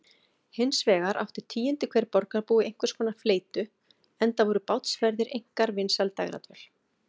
Hinsvegar átti tíundi hver borgarbúi einhverskonar fleytu, enda voru bátsferðir einkar vinsæl dægradvöl.